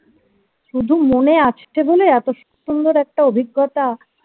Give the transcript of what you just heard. শুধু মনে আসছে বলে এতো স~ সুন্দর একটা অভিজ্ঞতা